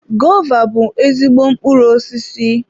Gova bụ ezigbo mkpụrụ osisi.